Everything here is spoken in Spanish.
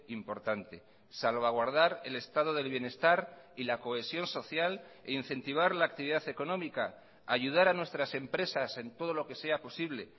importante salvaguardar el estado del bienestar y la cohesión social e incentivar la actividad económica ayudar a nuestras empresas en todo lo que sea posible